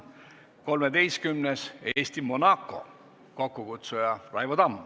Kolmeteistkümnendaks, Eesti-Monaco, kokkukutsuja on Raivo Tamm.